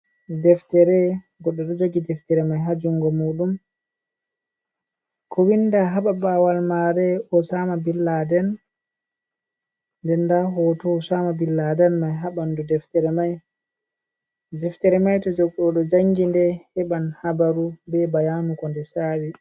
Deftere, goɗɗo ɗo jogi deftere mai ha jungo mu ɗum ko winda ha paɓawal maare Osama bin Laden den nda hoto Osama bin Laden mai ha ɓandu deftere mai, to goɗɗo jangi nde heɓan habaru be bayanu ko nde saawi.